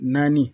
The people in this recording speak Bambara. Naani